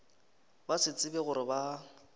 ba se tsebe gore ba